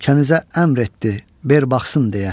Kənizə əmr etdi, ver baxsın deyə.